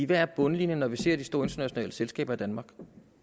hvad er bundlinjen når vi ser på de store internationale selskaber i danmark